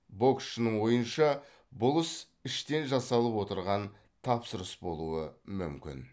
боксшының ойынша бұл іс іштен жасалып отырған тапсырыс болуы мүмкін